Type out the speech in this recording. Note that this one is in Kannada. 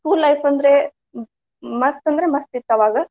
School life ಅಂದ್ರೆ ಹ್ಮ್ ಮಸ್ತ್ ಅಂದ್ರ ಮಸ್ತ್ ಇತ್ತ ಅವಾಗ.